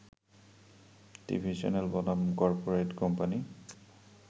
TV channel বনাম corporate company